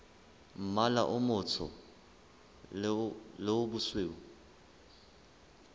mmala o motsho le bosweu